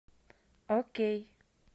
окей